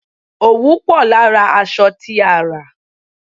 Òwú pò lára aṣọ tí a rà.